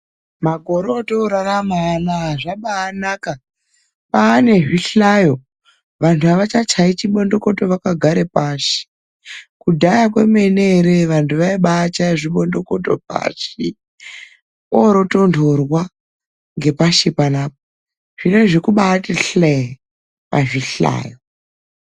Makore atorarama anawa kwabanaka kwane zvihlayo vandu havachachayi chebondokato vakagara pashi kudhaya vandu vaichaya chibondokoto vondotondorwa vari pashi